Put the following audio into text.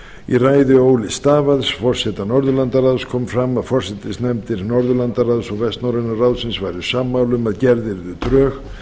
í ræðu ole stavad forseta norðurlandaráðs kom fram að forsætisnefndir norðurlandaráðs og vestnorræna ráðsins væru sammála um að gerð yrðu drög